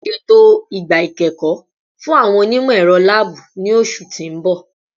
Ṣeto igba ikẹkọ fun awọn onimọ-ẹrọ laabu ni oṣu ti n bọ